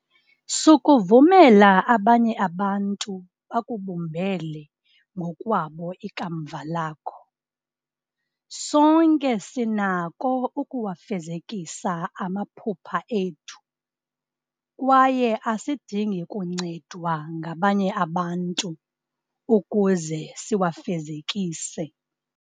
Sukuvumela abanye abantu bakubumbele ngokwabo ikamva lakho. Sonke sinako ukuwafezekisa amaphupha ethu kwaye asidingi kuncedwa ngabanye abantu ukuze siwafezekise.